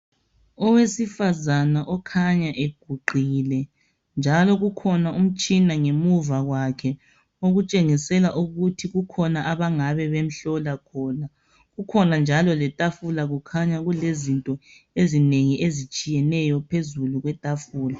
owesifazana okhanya eguqile njalo kukhona umtshina ngemuva kwakhe okutshengisela ukuthi kungaba kukhona abamhlola khona kukhona njalo letafula kukhanya kulezinto ezinengi ezitshiyeneyo phezulu kwetafula